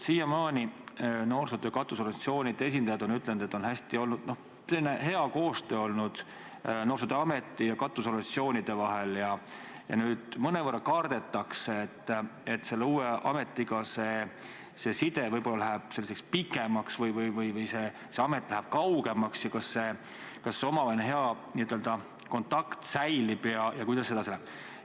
Siiamaani on noorsootöö katusorganisatsioonide esindajad öelnud, et kõik on hästi olnud, hea koostöö on olnud noorsootöö keskuse ja katusorganisatsioonide vahel, ja nüüd mõnevõrra kardetakse, et selle uue ametiga see side võib-olla läheb selliseks pikemaks või see amet läheb kaugemaks, kas see omavaheline hea kontakt ikka säilib ja üldse, kuidas kõik edasi läheb.